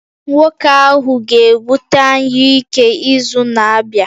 Nwoke ahụ ga-ebute anyụike izu na-abịa